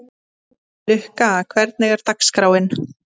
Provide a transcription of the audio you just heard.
Lukka, hvernig er dagskráin?